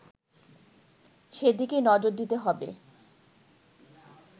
সেদিকে নজর দিতে হবে